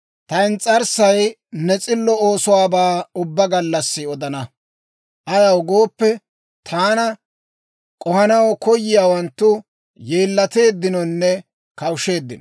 Ta ins's'arssay ne s'illo oosuwaabaa ubbaa gallassi odana; ayaw gooppe, taana k'ohanaw koyiyaawanttu, yeellateeddinonne kawusheeddino.